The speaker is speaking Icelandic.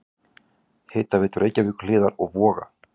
Hitaveitu Reykjahlíðar og Voga.